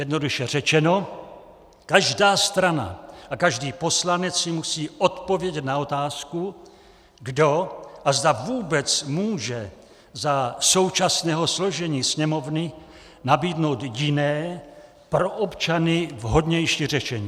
Jednoduše řečeno, každá strana a každý poslanec si musí odpovědět na otázku, kdo a zda vůbec může za současného složení Sněmovny nabídnout jiné, pro občany vhodnější řešení.